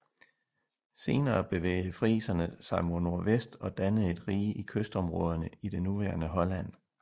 Senere bevægede friserne sig mod nordvest og dannede et rige i kystområderne i det nuværende Holland